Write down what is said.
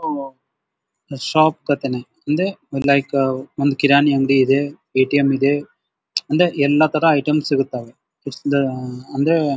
Shop ಕತೇನಿ ಇಲ್ಲಿ ಮಲೈಕಾ ಅವ್ ಒಂದು ಕಿರಾಣಿ ಅಂಗಡಿ ಇದೆ ಎ.ಟಿ.ಎಮ್ ಇದೆ ಎಲ್ಲಾ ತರದ್ ಐಟಮ್ ಸಿಗುತ್ತವೆ. ಅಂದ್ರೆ--